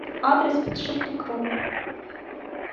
адрес подшипникру